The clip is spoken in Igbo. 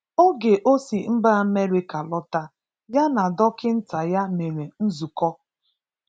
Ògè ọ̀ sì Mbà Amẹ́ríkà lọ̀tà, yà na Dọ́kị̀ntà yà merè nzùkọ̀